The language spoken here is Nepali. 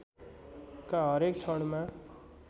का हरेक क्षणमा